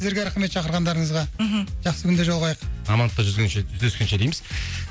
сіздерге рахмет шақырғандарыңызға мхм жақсы күнде жолығайық амандықта жүздескенше дейміз